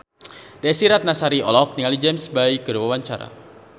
Desy Ratnasari olohok ningali James Bay keur diwawancara